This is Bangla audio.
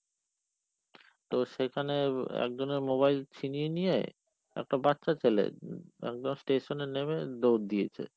তো সেখানে একজনের mobile ছিনিয়ে নিয়ে, একটা বাচ্চা ছেলে, একদম station এ নেমে দৌড় দিয়েছে।